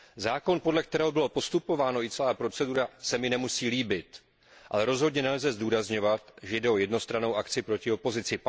Zákon, podle kterého bylo postupováno, i celá procedura se mi nemusí líbit, ale rozhodně nelze zdůrazňovat, že jde o jednostrannou akci proti opozici.